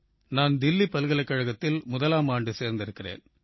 நான் தில்லி பல்கலைக்கழகத்தில் முதலாமாண்டு சேர்ந்திருக்கிறேன்